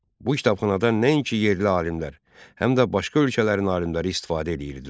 Bu kitabxanadan nəinki yerli alimlər, həm də başqa ölkələrin alimləri istifadə edirdilər.